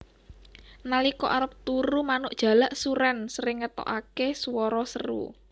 Nalika arep turu manuk jalak surèn sering ngetokaké swara seru